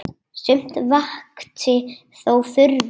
Sumt vakti þó furðu.